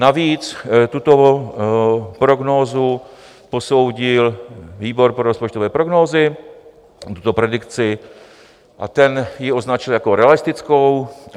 Navíc tuto prognózu posoudil výbor pro rozpočtové prognózy, tuto predikci, a ten ji označil jako realistickou.